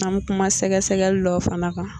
An bi kuma sɛgɛsɛgɛli dɔw fana kan